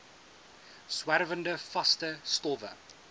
swerwende vaste stowwe